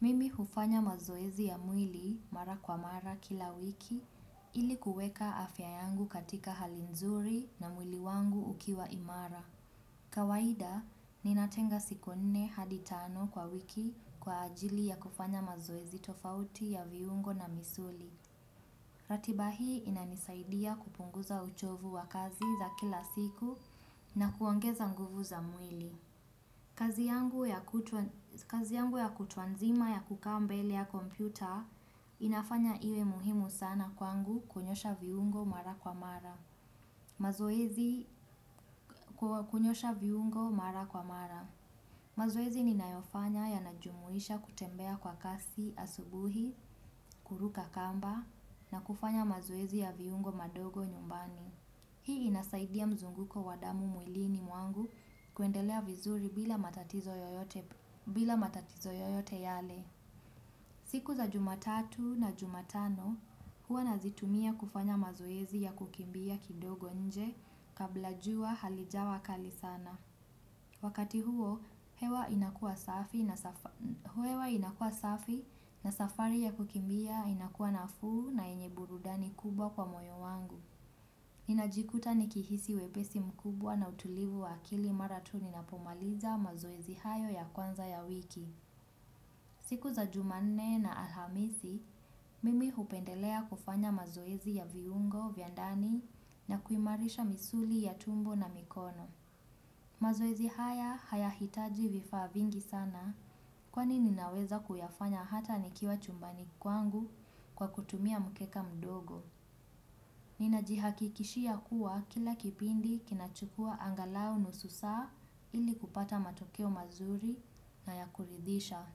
Mimi hufanya mazoezi ya mwili mara kwa mara kila wiki ili kuweka afya yangu katika hali nzuri na mwili wangu ukiwa imara. Kawaida, ninatenga siku nne hadi tano kwa wiki kwa ajili ya kufanya mazoezi tofauti ya viungo na misuli. Ratiba hii inanisaidia kupunguza uchovu wa kazi za kila siku na kuongeza nguvu za mwili. Kazi yangu ya kutwa nzima ya kukaa mbele ya kompyuta inafanya iwe muhimu sana kwangu kunyosha viungo mara kwa mara. Mazoezi ninayofanya yanajumuisha kutembea kwa kasi asubuhi, kuruka kamba na kufanya mazoezi ya viungo madogo nyumbani hii inasaidia mzunguko wa damu mwilini mwangu kuendelea vizuri bila matatizo yoyote yale. Siku za Jumatatu na Jumatano, huwa nazitumia kufanya mazoezi ya kukimbia kidogo nje kabla jua halijawa kali sana. Wakati huo, hewa inakuwa safi na safari ya kukimbia inakuwa nafuu na yenye burudani kubwa kwa moyo wangu. Ninajikuta nikihisi wepesi mkubwa na utulivu wa akili mara tu ninapomaliza mazoezi hayo ya kwanza ya wiki. Siku za Jumanne na Alhamisi, mimi hupendelea kufanya mazoezi ya viungo, vya ndani na kuimarisha misuli ya tumbo na mikono. Mazoezi haya hayahitaji vifaa vingi sana kwani ninaweza kuyafanya hata nikiwa chumbani kwangu kwa kutumia mkeka mdogo. Ninajihakikishia kuwa kila kipindi kinachukua angalau nusu saa ili kupata matokeo mazuri na ya kuridhisha.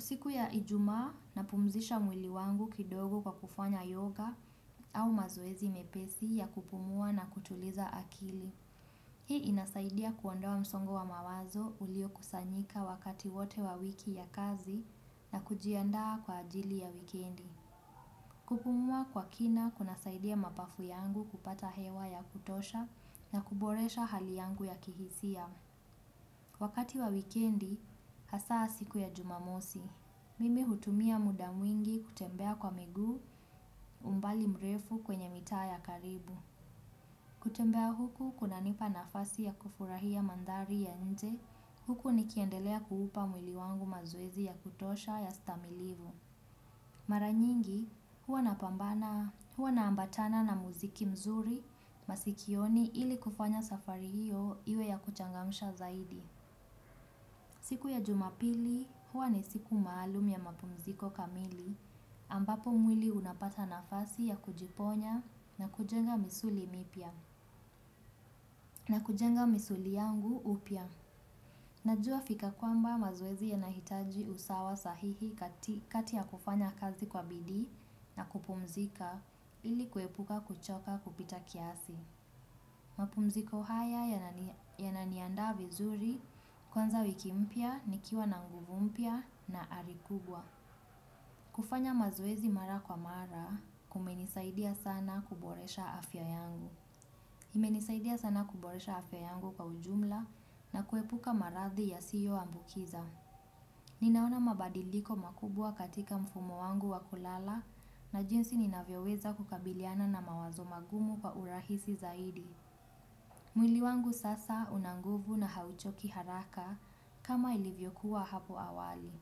Siku ya Ijumaa napumzisha mwili wangu kidogo kwa kufanya yoga au mazoezi mepesi ya kupumua na kutuliza akili. Hii inasaidia kuondoa msongo wa mawazo uliokusanyika wakati wote wa wiki ya kazi na kujiandaa kwa ajili ya wikendi. Kupumua kwa kina kunasaidia mapafu yangu kupata hewa ya kutosha na kuboresha hali yangu ya kihisia. Wakati wa wikendi, hasaa siku ya Jumamosi. Mimi hutumia muda mwingi kutembea kwa miguu, umbali mrefu kwenye mitaa ya karibu kutembea huku kunanipa nafasi ya kufurahia mandhari ya nje. Huku nikiendelea kuupa mwili wangu mazoezi ya kutosha ya stamilivu. Mara nyingi huwa naambatana na muziki mzuri masikioni ili kufanya safari hiyo iwe ya kuchangamsha zaidi. Siku ya Jumapili huwa ni siku maalum ya mapumziko kamili ambapo mwili unapata nafasi ya kujiponya na kujenga misuli mipya na kujenga misuli yangu upya. Najua fika kwamba mazoezi yanahitaji usawa sahihi kati ya kufanya kazi kwa bidii na kupumzika ili kuepuka kuchoka kupita kiasi. Mapumziko haya yananiandaa vizuri kwanza wiki mpya, nikiwa na nguvu mpya na ari kubwa. Kufanya mazoezi mara kwa mara kumenisaidia sana kuboresha afya yangu. Imenisaidia sana kuboresha afya yangu kwa ujumla na kuepuka marathi yasiyoambukiza. Ninaona mabadiliko makubwa katika mfumo wangu wa kulala na jinsi ninavyoweza kukabiliana na mawazo magumu kwa urahisi zaidi. Mwili wangu sasa una nguvu na hauchoki haraka kama ilivyokuwa hapo awali.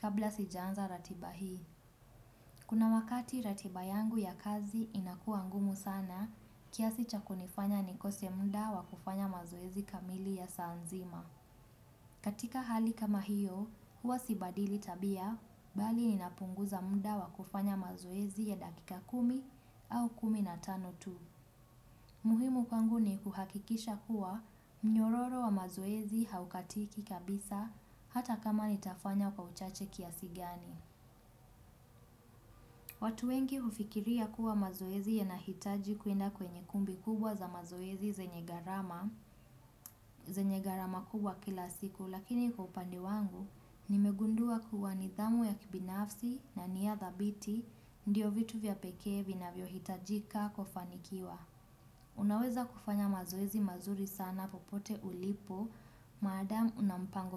Kabla sijaanza ratiba hii. Kuna wakati ratiba yangu ya kazi inakuwa ngumu sana, kiasi cha kunifanya nikose muda wa kufanya mazoezi kamili ya saa nzima. Katika hali kama hiyo, huwa sibadili tabia, bali ninapunguza muda wa kufanya mazoezi ya dakika kumi au kumi na tano tu. Muhimu kwangu ni kuhakikisha kuwa mnyororo wa mazoezi haukatiki kabisa hata kama nitafanya kwa uchache kiasi gani. Watu wengi hufikiria kuwa mazoezi yanahitaji kuenda kwenye kumbi kubwa za mazoezi zenye gharama kubwa kila siku lakini kwa upande wangu nimegundua kuwa nidhamu ya kibinafsi na nia dhabiti ndio vitu vya pekee vinavyohitajika kufanikiwa unaweza kufanya mazoezi mazuri sana popote ulipo maadamu una mpango.